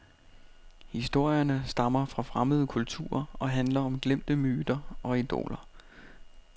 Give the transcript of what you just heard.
Historierne stammer fra fremmede kulturer og handler om glemte myter og idoler.